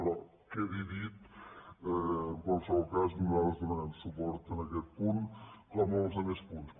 però quedi dit en qualsevol cas nosaltres donarem suport a aquest punt com als altres punts